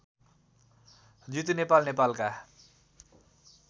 जितु नेपाल नेपालका